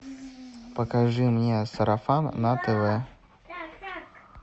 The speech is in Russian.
покажи мне сарафан на тв